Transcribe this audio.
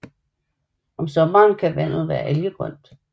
Om sommeren kan vandet være algegrønt